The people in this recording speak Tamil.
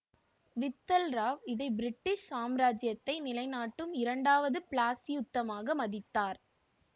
வித்தல் ராவ் இதை பிரிட்டிஷ் சாம்ராஜ்யத்தை நிலைநாட்டும் இரண்டாவது பிளாசியுத்தமாக மதித்தார்